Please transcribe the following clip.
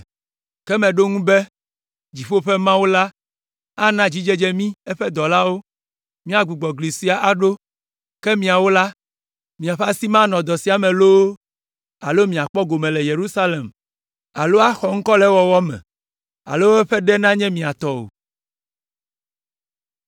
Ke meɖo eŋu be, “Dziƒo ƒe Mawu la ana dzidzedze mí eƒe dɔlawo míagbugbɔ gli sia aɖo, ke miawo la, miaƒe asi manɔ dɔ sia me loo alo miakpɔ gome le Yerusalem alo axɔ ŋkɔ le ewɔwɔ me alo eƒe ɖe nanye mia tɔ o.”